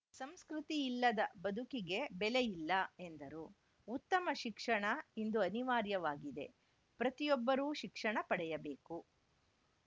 ಸಂಸ್ಕೃತಿ ಇಲ್ಲದ ಬದುಕಿಗೆ ಬೆಲೆಯಿಲ್ಲ ಎಂದರು ಉತ್ತಮ ಶಿಕ್ಷಣ ಇಂದು ಅನಿವಾರ್ಯವಾಗಿದೆ ಪ್ರತಿಯೊಬ್ಬರೂ ಶಿಕ್ಷಣ ಪಡೆಯಬೇಕು